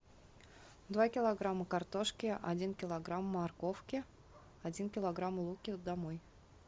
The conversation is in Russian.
два килограмма картошки один килограмм морковки один килограмм лука домой